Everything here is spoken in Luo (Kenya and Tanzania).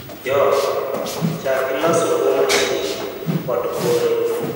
yo: chack gi loso buo mashin kod kore